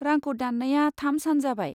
रांखौ दान्नाया थाम सान जाबाय।